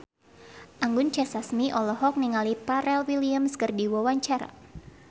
Anggun C. Sasmi olohok ningali Pharrell Williams keur diwawancara